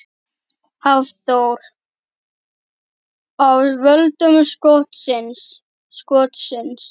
Hafþór: Af völdum skotsins?